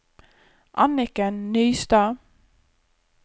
Anniken Nystad